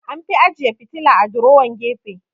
An fi ajeyi fitila a durowan gefe